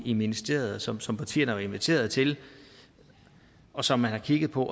i ministeriet som som partierne har været inviteret til og som man har kigget på